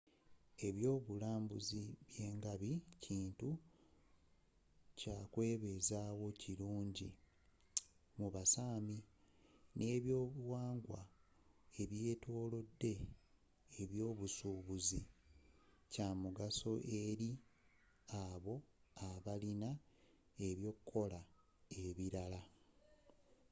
ebyobulunzi byengabi kintu kyakwebezaawo kirungi mu ba sámi nebyobuwangwa ebyotolodde ebyobusuubuzi kyamugaso eri abo abalina ebyokukola ebirala